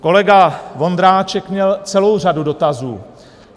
Kolega Vondráček měl celou řadu dotazů.